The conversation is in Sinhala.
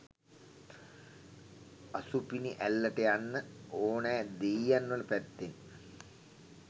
අසුපිනිඇල්ලට යන්න ඕනෑ දෙයියන්වල පැත්තෙන්.